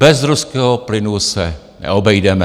Bez ruského plynu se neobejdeme.